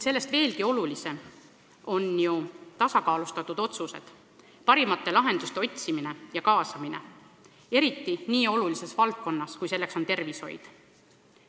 Sellest veelgi olulisemad on tasakaalustatud otsused, parimate lahenduste otsimine ja elluviimine, eriti nii olulises valdkonnas, kui seda on tervishoid.